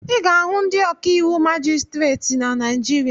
Ị ga-ahụ ndị ọkàiwụ majistreti na Naijiria